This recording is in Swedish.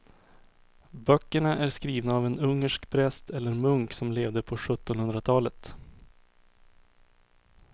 Böckerna är skrivna av en ungersk präst eller munk som levde på sjuttonhundratalet.